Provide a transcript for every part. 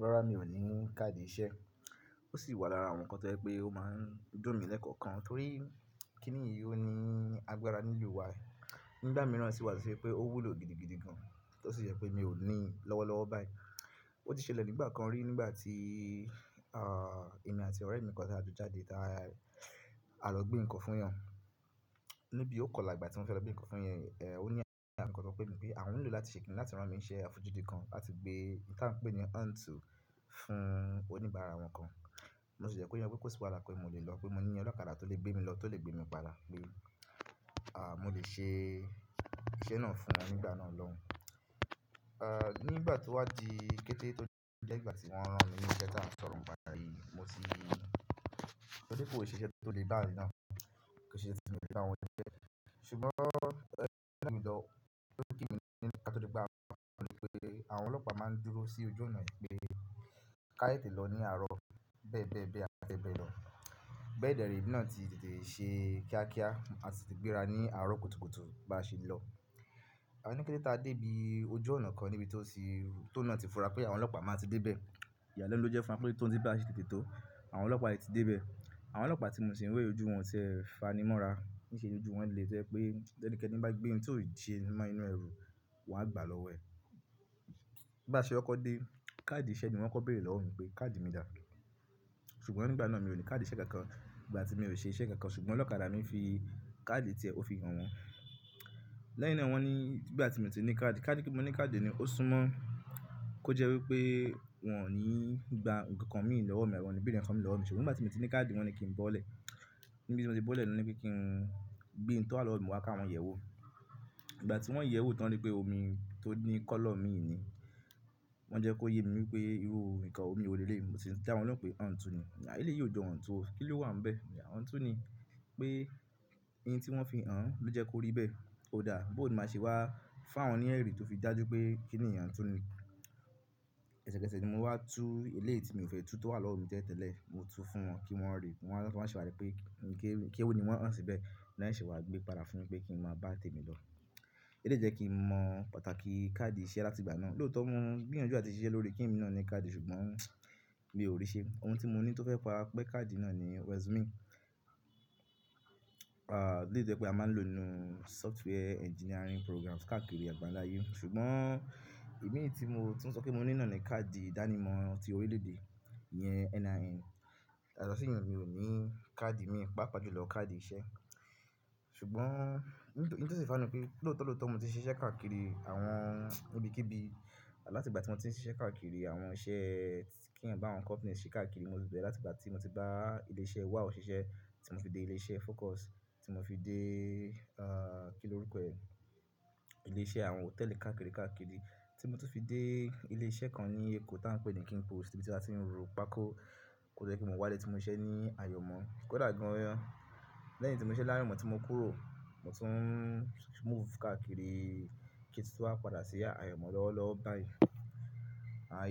Rárá, mi ò ní káàdì iṣẹ́. Ó sì wà lára àwọn nǹkan tó jẹ́ pé ó máa ń dùn mí lẹ́kọ̀ọ̀kan torí kí nìyí ó ní agbára nílùú wa. Nígbà mìíràn sì wà tún pé ó wúlò gidigidi gan, tó sì jẹ́ pé mi ò ní i lọ́wọ́ lọ́wọ́ báyìí. Ó ti ṣẹlẹ̀ nígbà kan rí nígbà tí, ah, èmi àti ọ̀rẹ́ mi kan tí a jọ jáde, tí a lọ gbé nǹkan fún èèyàn. Lóbí ò kọlà ìgbà tí wọ́n fẹ́ lọ gbé nǹkan fún èèyàn, eh, ó ní ẹ̀rí àmúkọmọ̀ pé ní pé àwọn ń lò láti ṣe kìn-ín-ní láti rán mi ṣíṣe àfojúdi kan láti gbé nǹkan pé ni àǹtù fún oníbàárà wọn kan. Mo sì jẹ́ kó yé wọn pé kò sì wàhálà pé mo lè lọ pé mo ní ọlọ́kadà tó lè gbé mi lọ, tó lè gbé mi padà, pé, ah, mo lè ṣe iṣẹ́ náà fún wọn nígbà náà lọ́hun. Ah, nígbà tó wá di kété tó jẹ́ ìgbà tí wọ́n rán mi nísẹ̀ tí a ń sọ̀rọ̀ pá'yìí mo tì rántí pé kò sí iṣẹ́ tó lè bá àrí náà ṣe, kò sí iṣẹ́ tó lè bá àwọn jẹ́. Ṣùgbọ́n ẹ́yìn t'e n lọ, ó kú kíni ká tó di pé á múra, so tí yé yín àwọn ọlọ́pàá máa ń dúró sí ojú ọ̀nà yìí pé ká tetẹ̀ lọ ní àárọ̀ bẹ́ẹ̀ bẹ́ẹ̀ bẹ́ẹ̀, àti bẹ́ẹ̀ bẹ́ẹ̀ lọ. Bẹ́ẹ̀dẹrẹ́ èmi náà ti tètè ṣe kíákíá, a ti tètè gbéra ní àárọ̀ kùtùkùtù bá ṣe lọ. A ní kété tá dé ibi ojú ọ̀nà kan níbi tí ó ti, tó ń náà ti fura pé àwọn ọlọ́pàá máa ti dé bẹ́ẹ̀. Ìyàlẹ́nu ló jẹ́ fún wa pé tòún tí bí a ṣe tètè tó, àwọn ọlọ́pàá yìí ti dé bẹ́ẹ̀. Àwọn ọlọ́pàá tí mo sì ń rí ojú wọn tẹ́ ẹ fanimọ́ra. Níṣe lójú wọn le tó jẹ́ pé bí ẹnikẹ́ni bá gbé ohun tí ò ṣe mọ́ inú ẹrù wọn a gbà lọ́wọ́ ẹ̀. Bá ṣe kọkọ̀ dé, káàdì iṣẹ́ ni wọ́n kọ bẹ̀rẹ̀ lọ́wọ́ mi pé káàdì mi dà? Ṣùgbọ́n nígbà náà mi ò ní káàdì iṣẹ́ kankan. Ìgbà tí mi ò ṣe iṣẹ́ kankan ṣùgbọ́n ọlọ́kadà ni ó fi káàdì tiẹ̀, ó fi hàn wọ́n. Lẹ́yìn náà wọ́n ní nígbà tí mi ò tí ní káàdì, ká ni pé mo ní káàdì ni ó sún mọ́ kó jẹ́ wípé wọn ò ní gba nǹkankan mii lọ́wọ́ mi, àbí wọn ò ní bèèrè nǹkankan mi lọ́wọ́ mi ṣe. Nígbà tí mo ti ní káàdì wọ́n ni kí n bọ́lẹ̀. Níbi tí mo ti bọ́lẹ̀ ni wọ́n ní pé kí n gbé ń tó wà lọ́wọ́ mi wá ká wọn yẹ̀ wò. Ìgbà tí wọ́n yẹ̀ wò tán rí pé omi tó ní kọ́lọ̀ mii ni, wọ́n jẹ́ kó yé mi wípé irú nǹkan omi wo lèlèyí mi mo sì ń dá wọn lohun pé àǹtù ni. À eléyí ò jọ àǹtù o. Kí ló wà ń bẹ̀? Àǹtù ni. Pé ohun tí wọ́n fi hàn án ló jẹ́ kó rí bẹ́ẹ̀. Ó dáa, bó ni máa ṣe wá fún àwọn ní ẹ̀rí tó fi dájú pé kíni yì àǹtù ni. Ẹ̀sẹ̀kẹsẹ̀ ni mo wá tú eléyí tì mi ò fẹ́ tú tó wà lọ́wọ́ mi tẹ́lẹ̀ tẹ́lẹ̀, mo tú fún wọn kí wọ́n rí i. Wọn wá seṣe wà rí pé kewù ní wọ́n hàn síbẹ̀. Wọ́n wá se wá gbé padà fún mi pé kí n máa bá tèmi lọ. Eléyí tó jẹ́ kí n mọ pàtàkì káàdì iṣẹ́ láti ìgbà náà. Lóotọ̀ mo ń gbìyànjú à ti ṣiṣẹ́ lórí kí èmi náà ní káàdì ṣùgbọ́n mi ò rí i ṣe. Ohun tí mo ní tó fẹ́ pará pé káàdì náà ni resume. Ah, eléyí tó jẹ́ pé a máa ń lò ó nínú software engineering programs káàkiri àgbàńlá ayé. Ṣùgbọ́n èmi tí mo, tún sọ pé mo ní náà ni káàdì ìdánimọ̀ ti orílẹ̀ èdè ìyẹn NIN. Yàtọ̀ sí ìyun mi ò ní káàdì mi, pàápàá jù lọ káàdì iṣẹ́. Ṣùgbọ́n ńtòsí fani pé lóòótọ́ lóòótọ́ mo ti ṣe iṣẹ́ káàkiri àwọn ibikíbi. Láti ìgbà tí mo ti ń ṣe iṣẹ́ káàkiri àwọn iṣẹ́ kí ń bá àwọn companies ṣe káàkiri, mo ti bẹ̀rẹ̀ láti ìgbà tí mo ti bá ilé iṣẹ́ Wào ṣiṣẹ́ tí mo fi dé ilé iṣẹ́ phocus tí mo fi dé, ah, kí ni orúkọ ẹ̀? Ilé iṣẹ́ àwọn hòtẹ́ẹ̀lì káàkiri káàkiri tí mo tún fi dé ilé iṣẹ́ kan ní Èkó tí à ń pè ní King Post níbi tí a ti ń ro pákó. Kò jde kí mo wá dé tí mo ń ṣe ní Àyọ̀mọ́. Kò dà gan-an. Lẹ́yìn tí mo ṣise layomo tí mo kúrò, mo tún move káàkiri kí tún tó wá padà sí Àyọ̀mọ́ lọ́wọ́ lọ́wọ́ báyìí.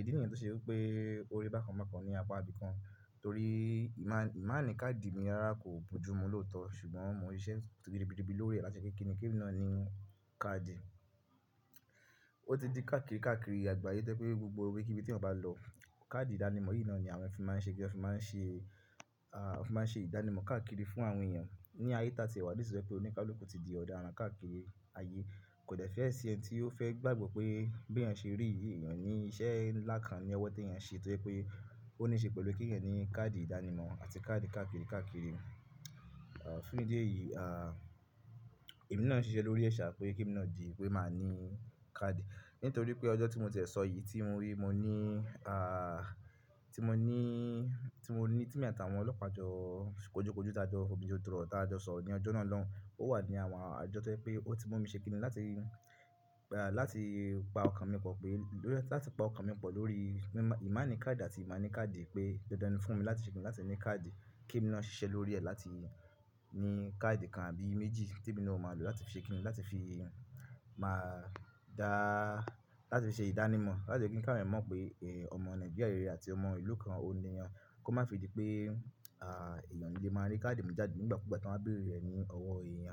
Ìdí nìyẹn tó ṣe wípé ó rí bákan bákan ní apá ibìkan torí ìma-ìmáàní káàdì mi rárá kò bojú mi lóòótọ́ ṣùgbọ́n mo ń ṣe iṣẹ́ ribiribi lórí rẹ̀ láti kí ki èmi náà ní káàdì. Ó ti di káàkiri káàkiri àgbà áyé tó jẹ́ pé gbogbo ibikíbi tí ọmọ bá lọ, káàdì ìdánimọ̀ yìí náà ni àwọn ẹ̀yàn máa ń ṣe pé a fi máa ń ṣe, ah, wọ́n fi máa ń ṣe ìdánimọ̀ káàkiri fún àwọn èèyàn. Ní ayé tá a ti wà niisìyii tó jẹ́ pé oníkálùkù ti di ọ̀daran káàkiri ayé. Kò dẹ́ fẹ́ ẹ sí ẹni tí ó fẹ́ gbàgbọ́ pé bí ẹ ṣe rí yí, èèyàn ní iṣẹ́ ńlá kan ní ọwọ́ tí ẹ yẹn ṣe toye pé ó ní ṣe pẹ̀lú kí ẹ̀yàn ní káàdì ìdánimọ̀ àti káàdì káàkiri káàkiri. Ah, fún ìdí èyí, ah, èmi náà ń ṣiṣẹ́ lórí ẹ̀ṣà pé kí n náà di pé màá ní káàdì. Nítorí pé ọjọ́ tí mo tẹ̀ sọ yìí tí mo wí mo ní, ah, tí mo ní, tí mo ní, tí èmi àtàwọn ọlọ́pàá jọ kojúkojú tá jọ fòbí ju dúrò tá jọ sọ ní ọjọ́ náà lọun, ó wà ní àwọn ọjọ́ tí ẹ pé ó ti mú mi ṣe kìn-ín-ní láti, ah, láti pa ọkàn mi pọ̀ pé, láti pa ọkàn mi pọ̀ lórí ìmáàní káàdì àti ìmáàní káàdì pé dandan ni fún mi láti ṣe kìn-ín-ní láti ní káàdì kèmi náà ṣiṣẹ́ lórí rẹ̀ láti ní káàdì kan àbí méjì tí èmi náà máa lò láti fi ṣe kìn-ín-ní, láti fi má dá, láti fi ṣe ìdánimọ̀, láti fi kí ń káwọn èèyàn mọ̀ pé, eh, ọmọ Nigeria rere àti ọmọ ìlú kan, onìyàn. Kó má fi di pé, ah, èèyàn òni le máa rí káàdì mu jáde nígbàkúgbà tí wọ́n bá béèrè e ní ọwọ́ èèyàn.